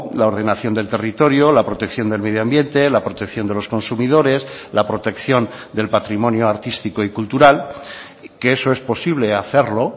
la ordenación del territorio la protección del medioambiente la protección de los consumidores la protección del patrimonio artístico y cultural que eso es posible hacerlo